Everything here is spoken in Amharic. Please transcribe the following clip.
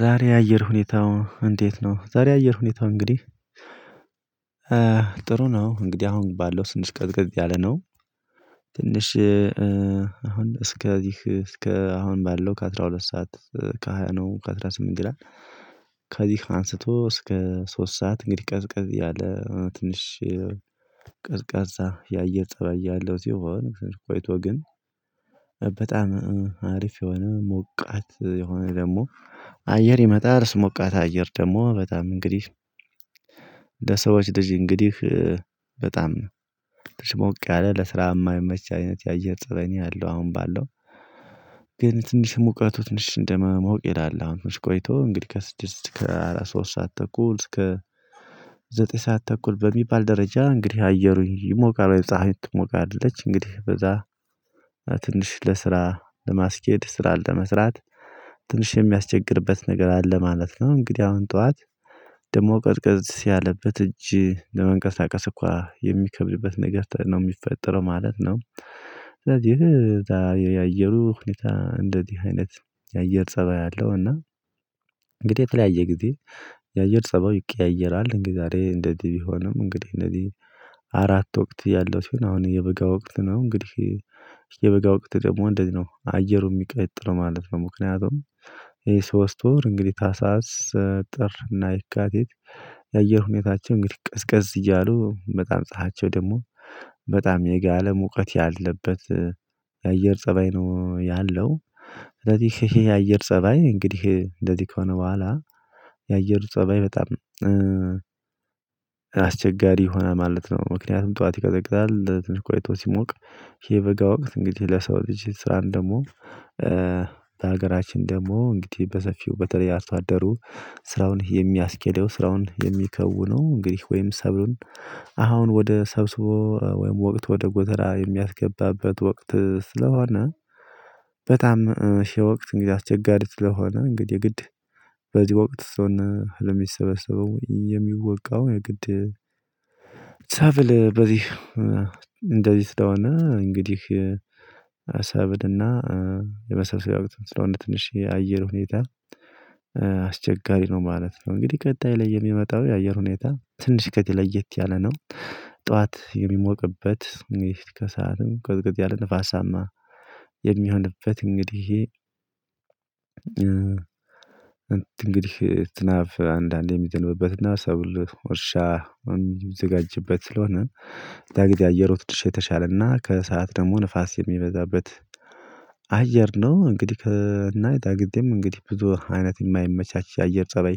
ዛሬ አየር ሁኔታው እንዴት ነው? ዛሬ የአየር ሁኔታው እንግዲህ ጥሩ ነው እንግዲህ አሁን ባለው ትንሽ ቀዝቀዝ ያለ ነው። ትንሽ አሁን እስከ እስከ አሁን ባለው ከ12 ሰዓት ከ20 ነው ከ18 ይላል። ከዚህ አንስቶ እስከ ሶስት ሰዓት እንግዲህ ቀዝቀዝ ያለ ትንሽ ቀዝቃዛ የአየር ፀባይ ያለው ሲሆን ቆይቶ ግን በጣም ሀሪፍ የሆነ ሞቃት የሆነ ደግሞ አየር ይመጣል። እሱ ሞቃት አየር ደግሞ በጣም እንግዲህ እንደ ለሰዎች ልጅ እንግዲህ በጣም ትንሽ ሞቅ ያለ ለስራ የማይመች አይነት የአየር ፀባይ ነው ያአለው አሁን ባለው። ግን ትንሽ ሙቀቱ ትንሽ እንደመሞቅ ይላል ቆይቶ እንግዲህ ከስድስት እስከ አራት ሶስት ሰዓት ተኩል እስከ ዘጠኝ ሰዓት ተኩል በሚባል ደረጃ እንግዲህ አየሩ ይሞቃል ፀሀይም ትሞቃለች እንግዲህ በዛ ትንሽ ለስራ ለማስኬድ ስራ ለመስራት ትንሽ የሚያስቸግርበት ነገር አለ ማለት ነው። እንግዲህ አሁን ጠዋት ደግሞ ቀዝቀዝ ያለበት እጅ ለመንቀሳቀስ እንኮ የሚከብድበት ነገር ነው የሚፈጠረው ማለት ነው። ስለዚህ የዛ የአየሩ ሁኔታ እንደዚህ አይነት የአየር ፀባይ አለው። እና እንግዲህ የተለያየ ጊዜ የአየር ፀባይ ይቀያየራል እንግዲህ ዛሬ እንደዚህ ቢሆንም እንግዲህ እነዚህ አራት ወቅት ያለው ሲሆን አሁን የበጋ ወቅት ነው እንግዲህ የበጋ ወቅት ደግሞ እንደዚህ ነው አየሩ የሚቀጥለው ማለት ነው። ምክንያቱም ይሄ ሶስት ወር እንግዲህ ታህሳስ ጥር እና የካቲት የአየር ሁኔታቸው እንግዲህ ቀዝቀዝ እያሉ በጣም ፀሀያቸው ደግሞ በጣም የጋለም ሙቀት ያለበት የአየር ፀባይ ነው። ያለው እንደዚህ የአየር ፀባይ እንግዲህ እንደዚህ ከሆነ በኋላ የአየር ፀባይ በጣም አስቸጋሪ ይሆናል ማለት ነው። ምክንያቱም ጠዋት ይቀዘቅዛል ትንሽ ቆይቶ ሲሞቅ የበጋ ወቅት እንግዲህ ለሰው ልጅ ስራን ደግሞ በሀገራችን ደግሞ እንግዲህ በሰፊው በተለየ አርሷ አደሩ ስራውን የሚያስኬደው ስራውን የሚከውነው እንግዲህ ወይም ሰብሉን አሁን ወደ ሰብስቦ ወይም ወደ ጎተራ የሚያስገባበት ወቅት ስለሆነ። በጣም ሺህ ወቅት እንግዲህ አስቸጋሪ ስለሆነ እንግዲህ ግድ በዚህ ወቅት እሱን ለሚሰበሰበው የሚወቃው የግድ ሰብል በዚህ እንደዚህ ስለሆነ እንግዲህ ሰብልና የመሳሰሉ ያው እንትን ስለሆነ ትንሽ የአየር ሁኔታ አስቸጋሪ ነው ማለት ነው። እንግዲህ ቀጣይ ላይ የሚመጣው የአየር ሁኔታ ትንሽ ከዚህ ለየት ያለ ነው። ጠዋት የሚሞቅበት ከሰአቱም ቅጥቅጥ ያለ ንፋሳማ የሚሆንበት እንግዲህ እንግዲህ ዝናብ አንዳንዴ የሚዘንብበትና ሰብል ወርሻ ወይም ሚዘጋጅበት ስለሆነ የዛን ጊዜ አየሩ ትንሽ የተሻለ እና ከሰአት ደግሞ ንፋስ የሚበዛበት አየር ነው። እንግዲህ ከእናይ ዳግዴም እንግዲህ ብዙ አይነት የማይመቻቸ የአየር ፀባይ